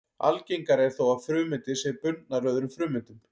Algengara er þó að frumeindir séu bundnar öðrum frumeindum.